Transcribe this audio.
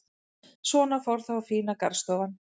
Svona fór þá fína garðstofan.